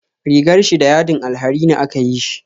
Rigar shi da yadin alharini aka yi shi